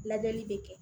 Lajɛli bɛ kɛ